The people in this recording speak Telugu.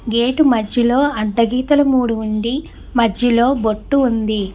గేటు మధ్యలో అడ్డ గీతలు మూడు ఉండి మధ్యలో బొట్టు ఉంది.